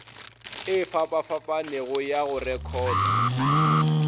e fapafapanego ya go rekhota